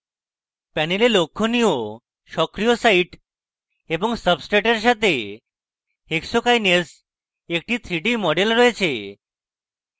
panel লক্ষনীয় সক্রিয় site এবং সাব্সট্রেটের সাথে hexokinase active 3d model রয়েছে